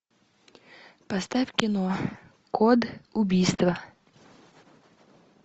поставь кино код убийства